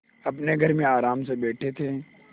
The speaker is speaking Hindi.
अपने घर में आराम से बैठे थे